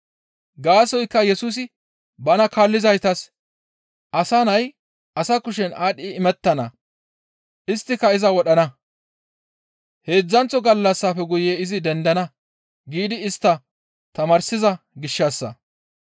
Gaasoykka Yesusi bana kaallizaytas, «Asa Nay asa kushen aadhdhi imettana; isttika iza wodhana, heedzdzanththo gallassafe guye izi dendana» giidi istta tamaarsiza gishshassa.